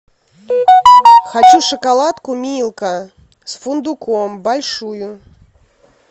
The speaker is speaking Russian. хочу шоколадку милка с фундуком большую